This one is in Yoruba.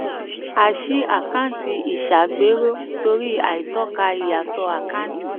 a ṣí àkáǹtì ìṣàgbéró torí àìtọ́ka ìyàtọ̀ àkántì.